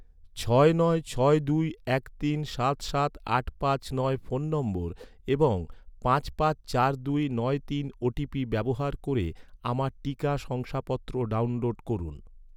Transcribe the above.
ছয় নয় ছয় দুই এক তিন সাত সাত আট পাঁচ বয় ফোন নম্বর এবং পাঁচ পাঁচ চার দুই নয় তিন ওটিপি ব্যবহার ক’রে, আমার টিকা শংসাপত্র ডাউনলোড করুন